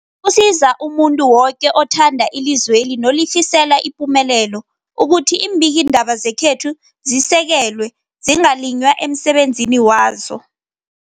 Kusiza umuntu woke othanda ilizweli nolifisela ipumelelo ukuthi iimbikiindaba zekhethu zisekelwe, zingaliywa emsebenzini wazo.